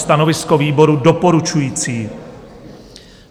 Stanovisko výboru: doporučující.